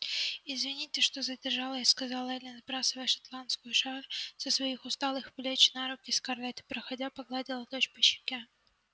извините что задержалась сказала эллин сбрасывая шотландскую шаль со своих усталых плеч на руки скарлетт и проходя погладила дочь по щеке